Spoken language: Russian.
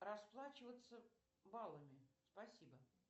расплачиваться баллами спасибо